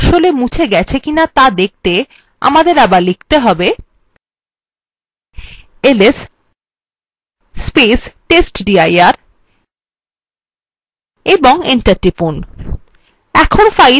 এই ফাইলটা আসলে মুছে ফেলা হয়েছে কি to দেখতে আমাদের আবার press করতে হবে testdir এবং enter টিপুন